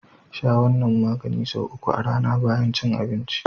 Sha wannan maganin sau uku a rAna bayan cin abinci.